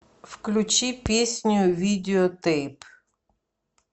включи песню видеотэйп